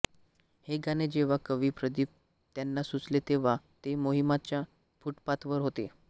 हे गाणे जेव्हा कवी प्रदीप यांना सुचले तेव्हा ते माहीमच्या फुटपाथवर होते